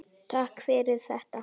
Þekki ég þessa stelpu?